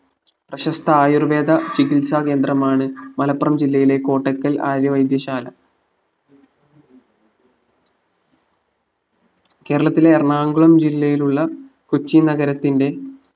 പ്രശസ്ത ആയുർവേദ ചികിത്സാ കേന്ദ്രമാണ് മലപ്പുറം ജില്ലയിലെ കോട്ടക്കൽ ആര്യ വൈദ്യശാല കേരളത്തിലെ എറണാകുളം ജില്ലയിലുള്ള കൊച്ചി നഗരത്തിന്റെ